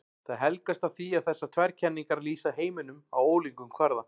Það helgast af því að þessar tvær kenningar lýsa heiminum á ólíkum kvarða.